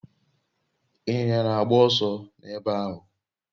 Inyinya na agba oso n'ebe ahu